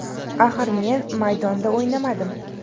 Axir men maydonda o‘ynamadim.